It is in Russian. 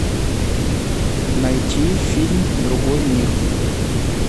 найти фильм другой мир